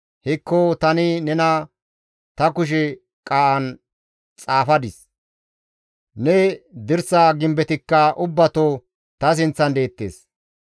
Hekko tani nena ta kushe qaa7an xaafadis; ne dirsa gimbetikka ubbatoo ta sinththan deettes.